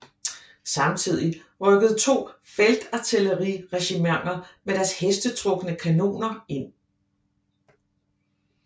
Samtidig rykkede to feltartilleriregimenter med deres hestetrukne kanoner ind